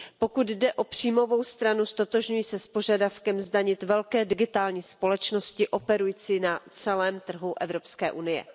Pokud jde o příjmovou stranu, ztotožňuji se s požadavkem zdanit velké digitální společnosti operující na celém trhu Evropské unie.